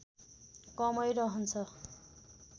कमै रहन्छ